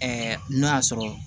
n'o y'a sɔrɔ